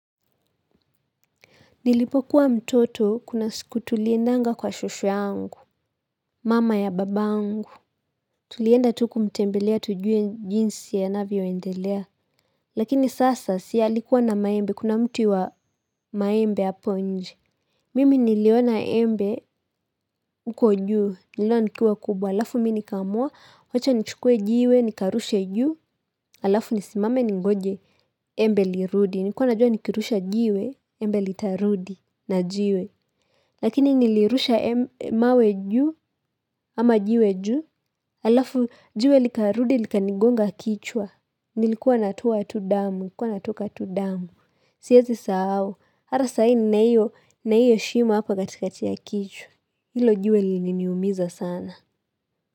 Nilipokuwa mtoto kuna siku tuliendanga kwa shosho yangu, mama ya babangu. Tulienda tu kumtembelea tujue jinsi anavyoendelea. Lakini sasa si alikuwa na maembe, kuna mti wa maembe hapo nje. Mimi niliona embe huko juu, niliona likuwa kubwa. Alafu mim nikamua, wacha nichukue jiwe, nikarushe juu. Alafu nisimame ningoje, embe lirudi. Nilikuwa najua nikirusha jiwe, embe litarudi na jiwe. Lakini nilirusha mawe juu, ama jiwe juu, alafu jiwe likarudi likanigonga kichwa, nilikuwa natoa tu damu, nilikuwa natoka tu damu. Siezi sahau, hata sahi nina hio, na hio shima hapa katika ya kichwa, hilo jiwe lilininiumiza sana.